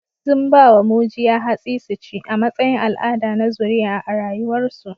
Sun ba wa mujiya hatsi su ci, a matsayin al'ada na zuriya a rayuwarsu